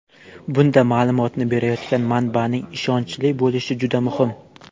Bunda ma’lumotni berayotgan manbaning ishonchli bo‘lishi juda muhim.